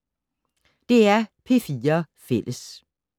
DR P4 Fælles